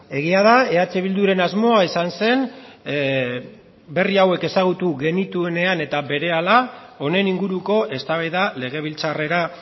egia da eh bilduren asmoa izan zen berri hauek ezagutu genituenean eta berehala honen inguruko eztabaida legebiltzarrera